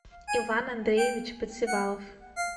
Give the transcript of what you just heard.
иван андреевич подсевалов